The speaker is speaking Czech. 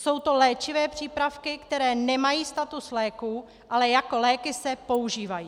Jsou to léčivé přípravky, které nemají status léků, ale jako léky se používají.